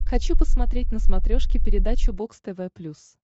хочу посмотреть на смотрешке передачу бокс тв плюс